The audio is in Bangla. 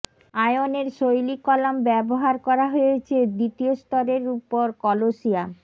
আয়নের শৈলী কলাম ব্যবহার করা হয়েছে দ্বিতীয় স্তরের উপর কলোসিয়াম